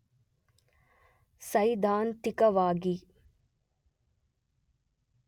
ಸೈದ್ಧಾಂತಿಕವಾಗಿ